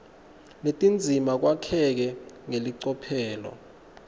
netindzima kwakheke ngelicophelo